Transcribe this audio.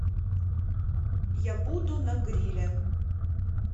я буду на гриле